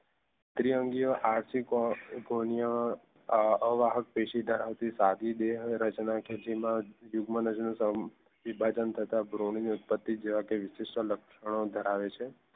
દ્વિઅંગી આર્શિકો અવાહક જેમાં ઉત્પત્તિ જેવા વિશિષ્ટ લક્ષણો ધરાવે છે